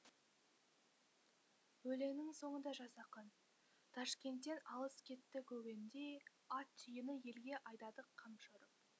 өлеңінің соңында жас ақын ташкенттен алыс кетті көген де ат түйені елге айдадық қамшы ұрып